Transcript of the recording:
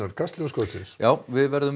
Kastljós kvöldsins við verðum með